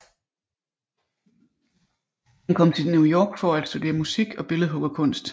Han kom til New York for at studere musik og billedhuggerkunst